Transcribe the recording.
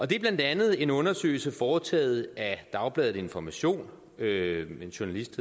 det er blandt andet en undersøgelse foretaget af dagbladet information med en journalist